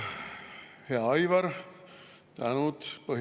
Hea Aivar!